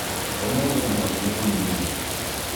ũmũthĩ mũhothi nĩ mũnini